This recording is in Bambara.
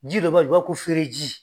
Ji dɔ b'a la, i b'a fɔ ko fereji